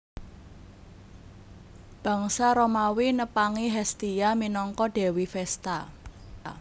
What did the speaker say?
Bangsa Romawi nepangi Hestia minangka dewi Vesta